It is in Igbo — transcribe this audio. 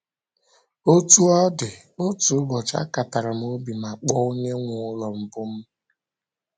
Otú ọ dị, otu ụbọchị, akatara m obi ma kpọọ onye nwe ụlọ mbụ m.